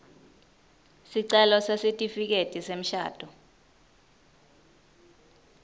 sicelo sesitifiketi semshado